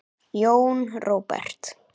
Jón Róbert.